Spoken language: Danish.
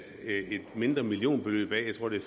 mindre millionbeløb af jeg tror det